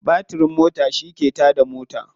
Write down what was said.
Batirin mota shi ke ta da mota.